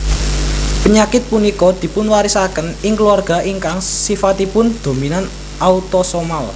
Pényakit punika dipunwarisakén ing keluarga ingkang sifatipun dominan autosomal